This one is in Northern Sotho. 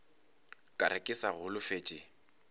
ka re ke sa holofetše